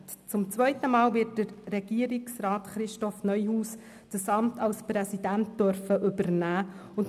Zum zweiten Mal wird Regierungsrat Christoph Neuhaus das Amt des Präsidenten übernehmen dürfen.